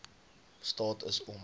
staat is om